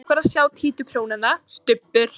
Leyfðu okkur að sjá títuprjónana, Stubbur!